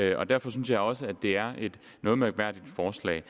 jeg og derfor synes jeg også det er et noget mærkværdigt forslag